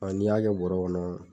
n'i y'a kɛ bɔrɔ kɔnɔ